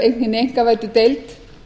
hinni einkavæddu deild